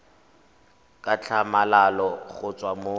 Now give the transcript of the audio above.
ka tlhamalalo go tswa mo